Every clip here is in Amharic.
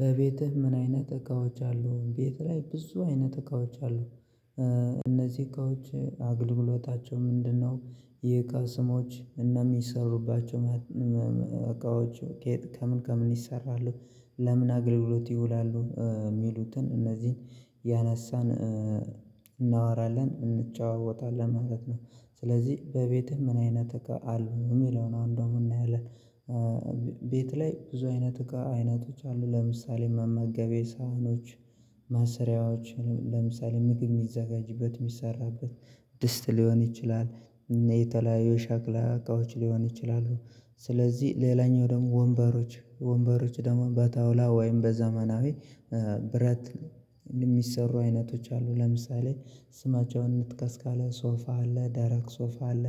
በቤትህ ምን አይነት እቃዎች አሉ? ቤት ላይ ብዙ አይነት እቃዎች አሉ። እነዚህ እቃዎች አገልግሎታቸው ምንድነው? የእቃ ስሞች? እና የሚሰሩባቸው እቃዎች ከምን ከምን ይሰራሉ? ለምን አግልሎት ይውላሉ? የሚሉትን እነዚህን እያነሳን እናወራለን እንጨዋወታለን ማለት ነው። ስለዚህ በቤትህ ምን አይነት እቃ አሉ የሚለውን አሁን ደግሞ እናያለን። ቤት ላይ ብዙ አይነት እቃ አይነቶች አሉ። ለምሳሌ መመገቢያ ሳህኖች መስሪያዎች ለምሳሌ ምግብ የሚዘጋጅበት የሚሰራበት ድስት ሊሆን ይችላል፣ የተለያዩ ሸክላ እቃዎች ሊሆን ይችላሉ። ስለዚህ ሌላኛው ደግሞ ወንበሮች ወንበሮች ደግሞ በጣውላ ወይም በዘመናዊ ብረት የሚሰሩ አይነቶች አሉ ለምሳሌ ስማቸውን እንጥቀስ ካለን ሶፋ አለ፣ ደረቅ ሶፋ አለ፣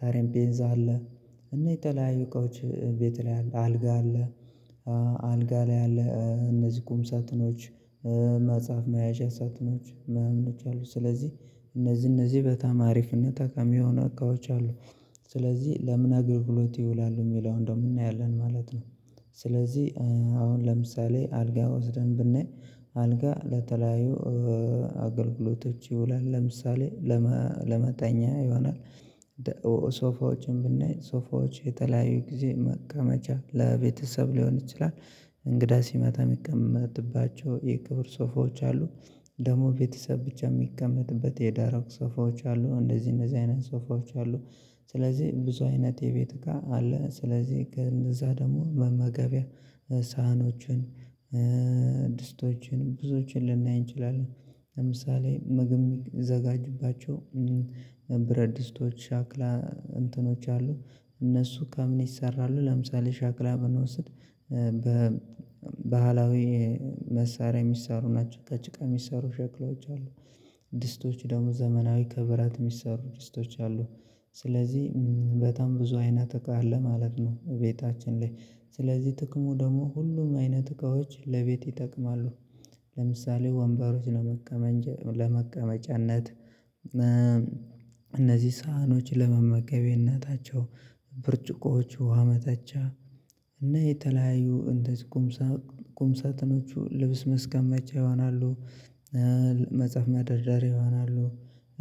ጠረጴዛ አለ፣ እና የተለያየ እቃዎች ቤት ላይ አለ፤ አልጋ አለ አልጋ ላይ አለ እነዚህ ቁም ሳጥኖች መጽሐፍ መያዣ ሳጥኖች ማናምኖች አሉ። ስለዚህ እነዚህ እነዚህ በጣም አሪፍ እና ጠቃሚ የሆኑ እቃዎች አሉ። ስለዚህ ለምን አገልግሎት ይውላሉ? የሚለውን ደግሞ እናያለን ማለት ነው። ስለዚህ አሁን ለምሳሌ አልጋ ወስደን ብናይ አልጋ ለተለያዩ አገልግሎቶች ይውላል። ለምሳሌ ለመተኛ ይሆናል ሶፋዎችን ብናይ ሶፋዎች የተለያዩ ጊዜ መቀመጫ ለቤተሰብ ሊሆን ይችላል፤ እንግዳ ሲመጣ የሚቀመጥባቸው የክብር ሶፋዎች አሉ። ደግሞ ቤተሰብ ብቻ የሚቀመጥበት የደረቅ ሶፋዎች አሉ። እንደዚህ እንደዚህ አይነት ሶፋዎች አሉ። ስለዚህ ብዙ አይነት የቤት እቃ አለ። ስለዚህ ከእነዛ ደግሞ መመገቢያ ሳህኖችን ድስቶችን ብዙዎችን ልናይ እንችላለን። ለምሳሌ ምግብ የሚዘጋጅባቸው ብረት ድስቶች፣ ሻክላ እንትኖች አሉ። እነሱ ከምን ይሰራሉ ለምሳሌ ሸክላ ብንወስድ በባህላዊ መሳሪያ የሚሰሩ ናቸው። ከጭቃ የሚሰሩ ሸክላዎች አሉ። ድስቶች ደግሞ ዘመናዊ ከብረት የሚሰሩ ድስቶች አሉ። ስለዚህ በጣም ብዙ አይነት እቃ አለ ማለት ነው ቤታችን ላይ። ስለዚህ ጥቅሙ ደግሞ ሁሉም አይነት እቃዎች ለቤት ይጠቅማሉ። ለምሳሌ ወንበሮች ለመቀመጫነት፣ እነዚህ ሳህኖች ለመመገቢያነታቸው፣ ብርጭቆዎቹ ውሃ መጠጫ እና የተለያዩ እንትን ቁም ሳጥኖቹ ልብስ ማስቀምጫ ይሆናሉ፤ መጽሐፍ መደርደሪያ ይሆናሉ።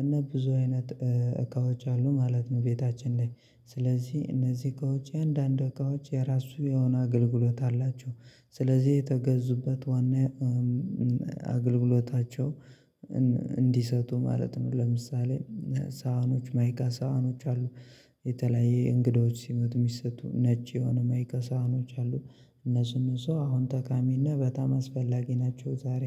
እና ብዙ አይነት እቃዎች አሉ ማለት ነው ቤታችን ላይ። ስለዚህ እነዚህ እቃዎች እያንዳንዱ እቃዎች የራሱ የሆነ አገልግሎት አላቸው። ስለዚህ የተገዙበት ዋና አገልግሎታቸው እንዲሰጡ ማለት ነው። ለምሳሌ ሳህኖች ማይካ ሳህኖች አሉ። የተለያየ እንግዶች ሲመጡ የሚሰጡ ነጭ የሆኑ ማይካ ሳህኖች አሉ። እነሱ እነሱ አሁን ጠቃሚና በጣም አስፈላጊ ናቸው ዛሬ።